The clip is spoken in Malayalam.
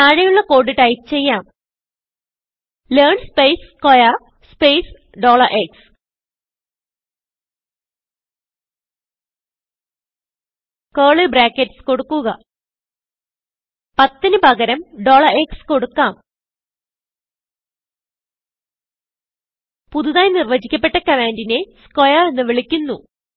താഴെയുള്ള കോഡ് ടൈപ്പ് ചെയ്യാം ലെയർൻ space square space x curly brackets കൊടുക്കുക 10 nuപകരം x കൊടുക്കാം പുതുതായി നിർവചിക്കപെട്ട കമാൻഡിനെ സ്ക്വയർ എന്ന് വിളിക്കുന്നു